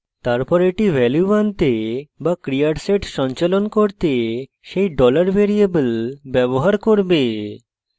তারপর এটি value আনতে বা ক্রিয়ার set সঞ্চালন করতে set $variable ব্যবহার করবে